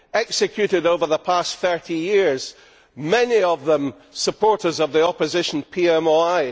executed over the past 30 years many of them supporters of the opposition PMOI.